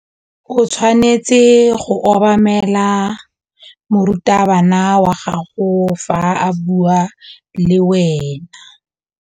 O tshwanetse go obamela morutabana wa gago fa a bua le wena.